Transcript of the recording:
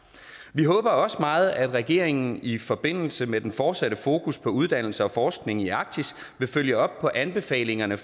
vi håber også meget at regeringen i forbindelse med den fortsatte fokus på uddannelse og forskning i arktis vil følge op på anbefalingerne